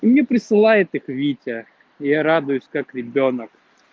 мне присылает их витя и я радуюсь как ребёнок